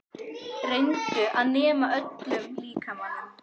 Reyndu að nema með öllum líkamanum.